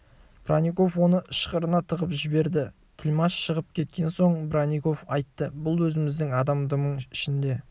бронников оны ышқырына тығып жіберді тілмаш шығып кеткен соң бронников айтты бұл өзіміздің адам дымың ішінде